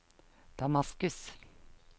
Damaskus